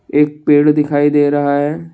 एक पेड़ दिखाई दे रहा है।